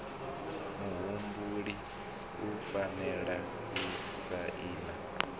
muhumbeli u fanela u saina